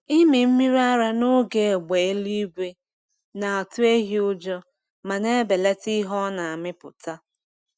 Ịmị mmiri ara n’oge égbè eluigwe na-atụ ehi ụjọ ma na-ebelata ihe ọ na-amịpụta.